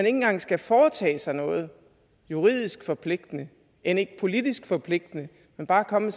engang skal foretage sig noget juridisk forpligtende end ikke politisk forpligtende men bare komme